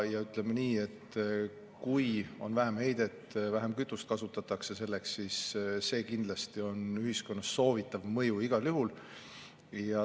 Ja ütleme nii, et kui on vähem heidet ja kasutatakse vähem kütust, siis see kindlasti on ühiskonnas soovitav mõju igal juhul.